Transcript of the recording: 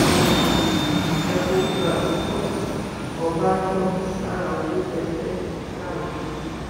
ẹ forúkọ àti fọtò ọbànjọ sára owó tẹ ẹ fẹẹ pààrọ yìí o